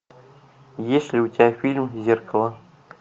есть ли у тебя фильм зеркало